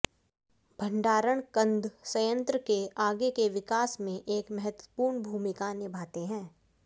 भंडारण कंद संयंत्र के आगे के विकास में एक महत्वपूर्ण भूमिका निभाते हैं